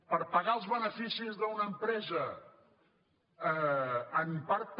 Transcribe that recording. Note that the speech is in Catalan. per pagar els beneficis d’una empresa en part també